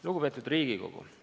Lugupeetud Riigikogu!